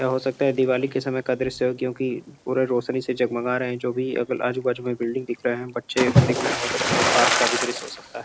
या हो सकता है दिवाली के समय का दृश्य हो क्योकिं पूरे रोशनी से जग मगा रहे है जो भी अगल आजू बाजू में बिल्डिंग दिख रहे हैं बच्चे दिख रहे हैं हो सकता है पार्क का भी दृश्य हो सकता है।